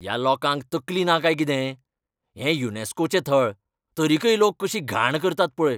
ह्या लोकांक तकली ना काय कितें? हें युनेस्कोचें थळ, तरीकय लोक कशी घाण करतात पळय.